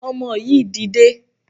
Ọmọ yìí dìde!